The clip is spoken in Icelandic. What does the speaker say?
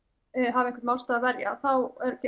hafi einhvern málstað að verja þá